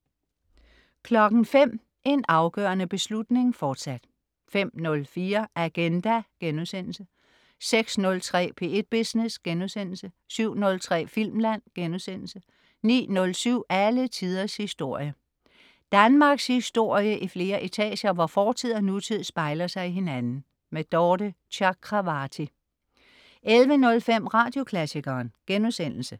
05.00 En afgørende beslutning, fortsat 05.04 Agenda* 06.03 P1 Business* 07.03 Filmland* 09.07 Alle tiders historie. Danmarkshistorie i flere etager, hvor fortid og nutid spejler sig i hinanden. Dorthe Chakravarty 11.05 Radioklassikeren*